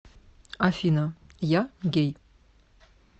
афина я гей